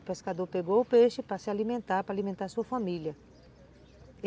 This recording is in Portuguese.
O pescador pegou o peixe para se alimentar, para alimentar a sua família.